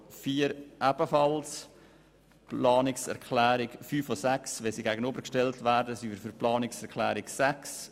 Wenn die Planungserklärungen 5 und 6 einander gegenübergestellt werden, ziehen wir die Planungserklärung 6 vor.